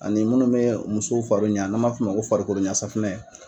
Ani munnu bɛ musow fari ɲa n'an b'a fɔ o ma ko farikoloɲa safunɛ.